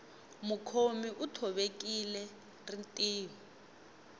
mukhomi u thovekile rinriho